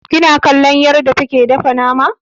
Kina kallon yarda take dafa nama?